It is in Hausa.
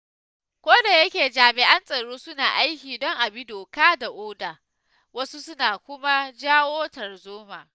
Kodayake jami'an tsaro suna aiki don a bi doka da oda, wasu suna kuma jawo tarzoma.